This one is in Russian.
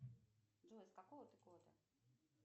джой с какого ты года